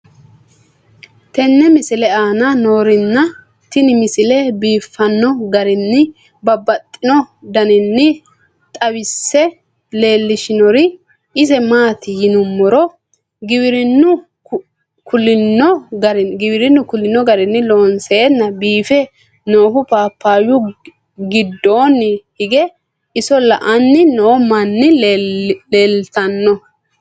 tenne misile aana noorina tini misile biiffanno garinni babaxxinno daniinni xawisse leelishanori isi maati yinummoro giwirinnu kulinno garinni loonseenna biiffe noohu papayu giddonni hige iso la'anni noo manni leelittanno